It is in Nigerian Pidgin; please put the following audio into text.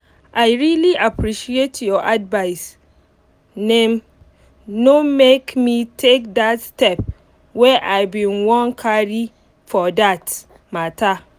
i really appreciate your advice naim um no make me take that step wey i bin wan carry for that um matter